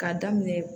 K'a daminɛ